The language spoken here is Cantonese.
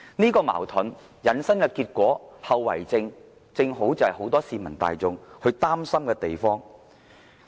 這個矛盾引申的結果和後遺症，正是很多市民大眾擔心的地方。